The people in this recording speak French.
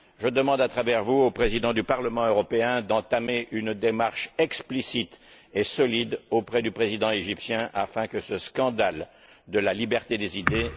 Je demande à travers vous au Président du Parlement européen d'entamer une démarche explicite et solide auprès du président égyptien afin que cesse ce scandale de la liberté des idées.